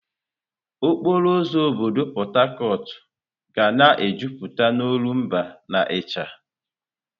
Okporo ụzọ obodo Port Harcourt ga na-ejupụta n'olumba na ịcha.